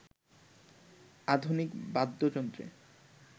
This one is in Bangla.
আধুনিক বাদ্যযন্ত্রে